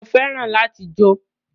Mo fẹ́ràn láti jó